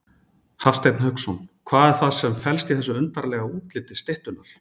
Hafsteinn Hauksson: Hvað er það sem að felst í þessu undarlega útliti styttunnar?